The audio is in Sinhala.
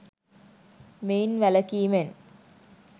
මෙයින් වැළකීමෙන්